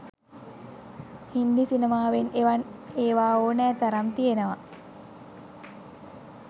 හින්දි සිනමාවෙත් එවන් ඒවා ඕනෑ තරම් තියෙනවා.